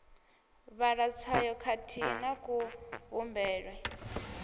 vhala tswayo khathihi na kuvhumbelwe